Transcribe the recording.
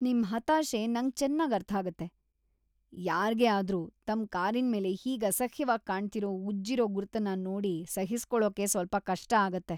ನಿಮ್ ಹತಾಶೆ ನಂಗ್ ಚೆನ್ನಾಗ್‌ ಅರ್ಥಾಗತ್ತೆ. ಯಾರ್ಗೇ ಆದ್ರೂ ತಮ್ ಕಾರಿನ್ಮೇಲೆ ಹೀಗೆ ಅಸಹ್ಯವಾಗ್ ಕಾಣ್ತಿರೋ ಉಜ್ಜಿರೋ ಗುರ್ತನ್ನ ನೋಡಿ ಸಹಿಸ್ಕೊಳೋಕೆ ಸ್ವಲ್ಪ ಕಷ್ಟ ಆಗತ್ತೆ.